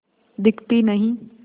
दिखती नहीं